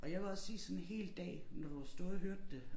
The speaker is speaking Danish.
Og jeg vil også sige sådan hel dag når du har stået og hørt det